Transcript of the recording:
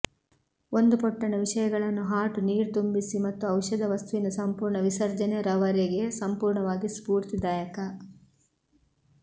ಒಂದು ಪೊಟ್ಟಣ ವಿಷಯಗಳನ್ನು ಹಾಟ್ ನೀರು ತುಂಬಿಸಿ ಮತ್ತು ಔಷಧ ವಸ್ತುವಿನ ಸಂಪೂರ್ಣ ವಿಸರ್ಜನೆ ರವರೆಗೆ ಸಂಪೂರ್ಣವಾಗಿ ಸ್ಫೂರ್ತಿದಾಯಕ